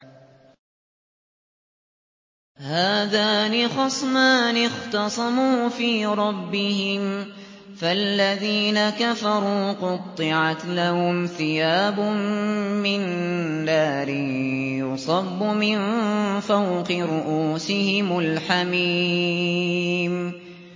۞ هَٰذَانِ خَصْمَانِ اخْتَصَمُوا فِي رَبِّهِمْ ۖ فَالَّذِينَ كَفَرُوا قُطِّعَتْ لَهُمْ ثِيَابٌ مِّن نَّارٍ يُصَبُّ مِن فَوْقِ رُءُوسِهِمُ الْحَمِيمُ